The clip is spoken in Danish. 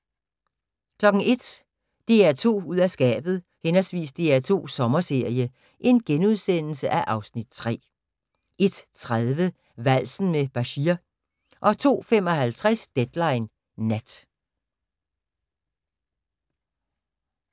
01:00: DR2 ud af skabet/ DR2 Sommerserie (Afs. 3)* 01:30: Valsen med Bashir 02:55: Deadline Nat